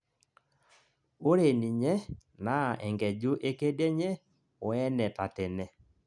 oree ninye naa enkeju ekedienye woene tatene